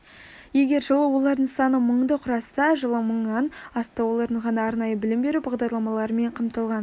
егер жылы олардың саны мыңды құраса жылы мыңнан асты олардың ғана арнайы білім беру бағдарламаларымен қамтылған